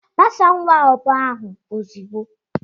Gbasaa nwa agbọghọ ahụ ozugbo!